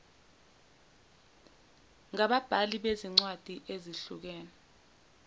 ngababhali bezincwadi ezihlukene